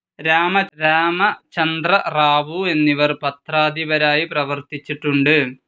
രാമചന്ദ്രറാവു എന്നിവർ പത്രാധിപരായി പ്രവർത്തിച്ചിട്ടുണ്ട്.